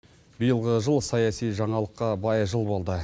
биылғы жыл саяси жаңалыққа бай жыл болды